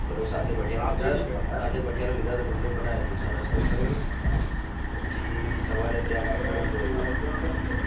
સાથે ભઠીયારા ને લીધાં સાથે ભઠોયારા લીધાં તા ચા નાસ્તો કર્યો પછી સવારે ત્યાં white રણ જોયું